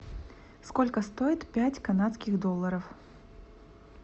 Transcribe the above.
сколько стоит пять канадских долларов